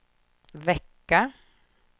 vecka